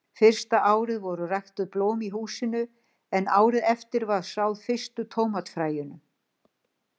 Fyrsta árið voru ræktuð blóm í húsinu, en árið eftir var sáð fyrstu tómatafræjunum.